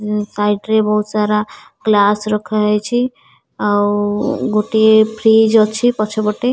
side ରେ ବହୁତ ସାରା ଗ୍ଳାସ ରଖାହେଇଛି ଆଉ ଗୋଟିଏ ଫ୍ରିଜ ଅଛି ପଛପଟେ --